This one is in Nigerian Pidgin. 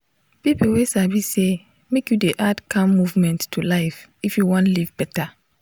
people wey sabi say make you dey add calm movement to life if you wan live better.